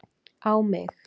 á mig